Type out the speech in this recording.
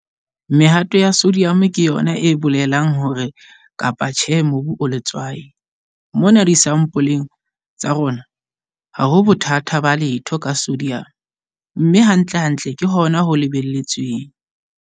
Mehato ya sodium ke yona e bolelang hore kapa tjhe mobu o letswai. Mona disampoleng tsa rona, ha ho bothata ba letho ka sodium, mme hantlentle ke hona ho lebelletsweng.